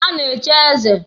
A na-echi eze.